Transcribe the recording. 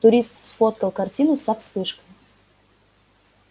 турист сфоткал картину со вспышкой